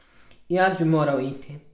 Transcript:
Jaz bi moral iti.